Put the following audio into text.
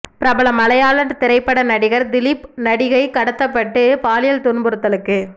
பிரபல மலையாள திரைப்பட நடிகர் திலீப் நடிகை கடத்தப்பட்டு பாலியல் துன்புறுத்தலுக்கு